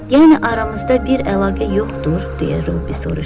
Yəni aramızda bir əlaqə yoxdur, deyə Robbi soruşdu.